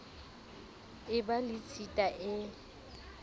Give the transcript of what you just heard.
e ba le tshita e